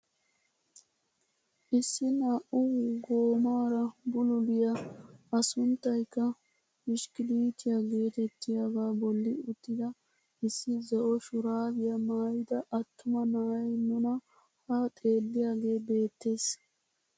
Issi naa"u goomara bululiyaa a sunttaykka bishikkilitiyaa getettiyaaga bolli uttida issi zo'o shuraabiyaa maayida attuma na'ay nuna ha xeelliiyaagee beettees.